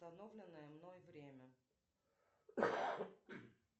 установленное мной время